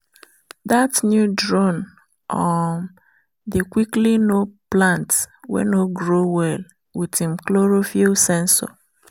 that new drone um dey quickly know plant wey no grow well with im chlorophyll sensor.